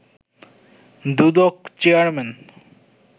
Dudok chairman